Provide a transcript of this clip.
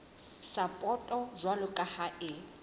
sapoto jwalo ka ha e